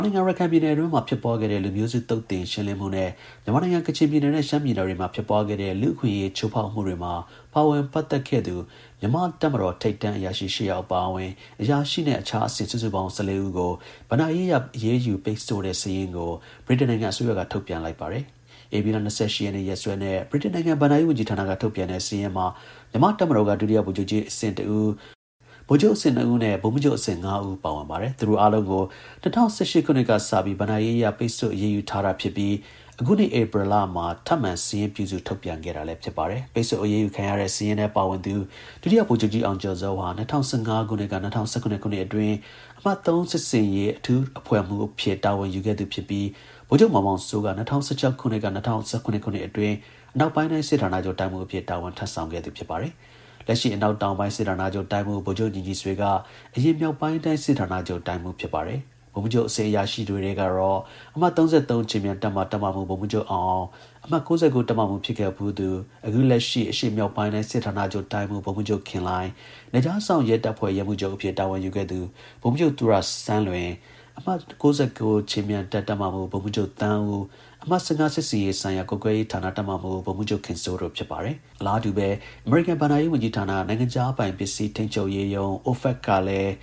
နိုင်ငံ၊ ရခိုင်ပြည်နယ်မှာ ဖြစ်ပွားခဲ့သော လူမျိုးစုသုတ်သင်ရှင်းလင်းမှုနဲ့ မြန်မာနိုင်ငံ၊ ကချင်ပြည်နယ်နဲ့ ရှမ်းပြည်နယ်တွေမှာ ဖြစ်ပွားခဲ့တဲ့ လူ့အခွင့်အရေးချိုးဖောက်မှုတွေမှာ ပါဝင်ပတ်သက်ခဲ့တဲ့ မြန်မာ့တပ်မတော်ထိပ်တန်းအရာရှိ ၈ ယောက်အပါအဝင် အရာရှိနဲ့ အခြား အဆင့် စုစုပေါင်း ၁၄ ဦးကို ဘဏ္ဍာရေးအရ အရေးယူ ပိတ်ဆို့ ထားတဲ့ စာရင်းကိုဗြိတိန်နိုင်ငံ အစိုးရက ထုတ်ပြန်လိုက်ပါတယ်။ ဧပြီလ ၂၈ ရက်နေ့ ရက်စွဲနဲ့ ဗြိတိန်နိုင်ငံ ဘဏ္ဍာရေး ဝန်ကြီးဌာနက ထုတ်ပြန်တဲ့ စာရင်းမှာ မြန်မာ့ တပ်မတော်က ဒုတိယ ဗိုလ်ချုပ်ကြီး အဆင့် ၁ ဦး၊ ဗိုလ်ချုပ်အဆင့် ၂ ဦးနဲ့ ဗိုလ်မှူးချုပ် အဆင့် ၅ ဦး ပါဝင် ပါတယ်။ သူတို့အားလုံးကို ၂၀၁၈ ခုနှစ်ကစပြီး ဘဏ္ဍာရေးအရ ပိတ်ဆို့ အရေးယူထားတာဖြစ်ပြီး အခုနှစ် ဧပြီလမှာ ထပ်မံ စာရင်းပြုစု ထုတ်ပြန်ခဲ့တာလည်း ဖြစ်ပါတယ်။ ပိတ်ဆို့အရေးယူခံရတဲ့ စာရင်းထဲ ပါဝင်သူ ဒုတိယ ဗိုလ်ချုပ်ကြီး အောင်ကျော်ဇောဟာ ၂၀၁၅ က ၂၀၁၇ ခုနှစ် အတွင်း အမှတ် (၃) စစ်ဆင်ရေး အထူးအဖွဲ့မှူး အဖြစ်တာဝန်ယူခဲ့သူ ဖြစ်ပြီး ဗိုလ်ချုပ်မောင်မောင်စိုးက ၂၀၁၆ က ၂၀၁၇ ခုနှစ် အတွင်း အနောက်ပိုင်းတိုင်း စစ်ဌာနချုပ် တိုင်းမှူး အဖြစ် တာဝန်ထမ်းဆောင်ခဲ့သူ ဖြစ်ပါတယ်။ လက်ရှိ အနောက်တောင်ပိုင်း စစ်ဌာနချုပ် တိုင်းမှူး ဗိုလ်ချုပ် ညီညီဆွေက အရင် မြောက်ပိုင်း တိုင်း စစ်ဌာနချုပ် တိုင်းမှူးဖြစ်ပါတယ်။ ဗိုလ်မှူးချုပ်အဆင့် အရာရှိတွေထဲ တော့ အမှတ်(၃၃)ခြေမြန်တပ်မ၊ တပ်မမှူး ဗိုလ်မှူးချုပ် အောင်အောင်၊ အမှတ် (၉၉) တပ်မမှူးဖြစ်ခဲ့ဖူးသူ လက်ရှိ အရှေ့မြောက်ပိုင်းတိုင်း စစ်ဌာနချုပ်တိုင်းမှူး ဗိုလ်မှူးချုပ် ခင်လှိုင်၊ နယ်ခြားစောင့် ရဲ တပ်ဖွဲ့ ရဲမှူးချုပ်အဖြစ် တာဝန်ယူခဲ့သူ ဗိုလ်မှူးချုပ် သူရ ဆန်းလွင်၊ အမှတ် (၉၉) ခြေမြန်တပ် တပ်မမှူး ဗိုလ်မှူးချုပ် သန်းဦး၊ အမှတ် (၁၅) စစ်ဆင်ရေးဆိုင်ရာ ကွပ်ကဲရေးဌာန တပ်မမှူး ဗိုလ်မှူးချုပ် ခင်စိုး တို့ ဖြစ်ပါတယ်။ အလားတူပဲ အဲဒီ တပ်မတော် ထိပ်တန်း အရာရှိကြီးတွေကို အမေရိကန် ဘဏ္ဍာရေးဝန်ကြီးဌာန၊ နိုင်ငံခြားပိုင် ပစ္စည်း ထိန်းချုပ်ရေးရုံး (OFAC) ကလည်း